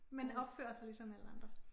Men opfører sig ligesom alle andre